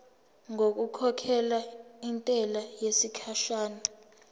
ngokukhokhela intela yesikhashana